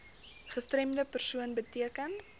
gestremde persoon beteken